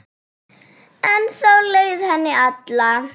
Ennþá leið henni illa.